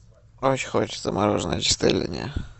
очень хочется мороженое чистая линия